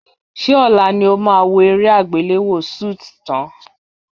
Ṣé ọ̀la ni ó máa wo eré àgbéléwò Suits tán?